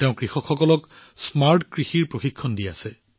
তেওঁ কৃষকসকলক স্মাৰ্ট কৃষিৰ প্ৰশিক্ষণ প্ৰদান কৰি আছে